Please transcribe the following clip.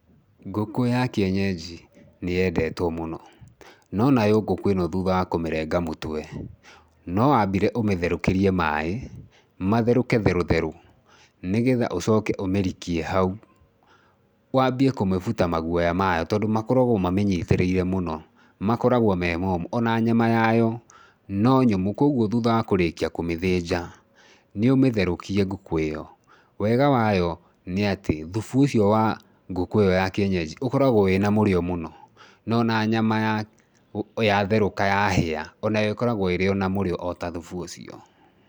Ngũkũ ya kĩenyenji nĩyendetwo mũno, no nayo ngũkũ ĩno thutha wa kũmĩrenga mũtwe no wambire ũmĩtherũkĩrie maĩ, matherũke therũ therũ nĩgetha ũcoke ũmĩrike hau, wambie kũmĩbuta maguoya mayo tondũ makoragwo mamĩnyitĩrĩire mũno makoragwo me momũ ona nyama yayo, no nyũmũ. Kuoguo thutha wa kũrĩkia kũmĩthĩnja nĩũmĩtherũkie ngũkũ ĩyo. Wega wayo nĩ atĩ thubu ũcio wa ngũkũ ĩyo ya kĩenyenji ũkaragwo wĩna mũrĩo mũno, no ona nyama yatherũka yahĩa onayo ĩkoragwo ĩrĩ ona mũrĩo ota thubu ũcio.